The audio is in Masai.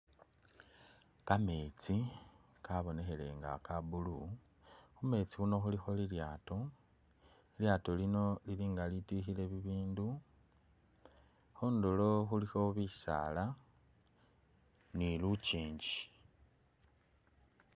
Kametsi kabonekhele nga ka blue, khumetsi khuno khulikho lilyaato, lilyaato lino lili nga lilityukhile bibindu, khundulo khulikho bisaala ni lukingi